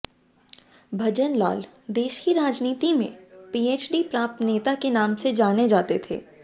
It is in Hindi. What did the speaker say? भजनलाल देश की राजनीति में पीएचडी प्राप्त नेता के नाम से जाने जाते थे